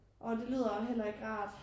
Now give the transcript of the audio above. Orh det lyder heller ikke rart